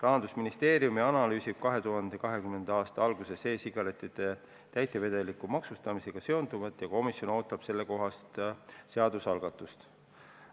2020. aasta alguses analüüsib Rahandusministeerium e-sigarettide täitevedeliku maksustamisega seonduvat ja komisjon ootab sellekohast seadusalgatust.